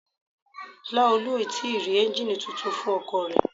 Laolu o ti rí ẹ́ngìnì titun fún ọkọ̀ rẹ̀.